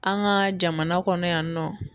An ka jamana kɔnɔ yan nɔ.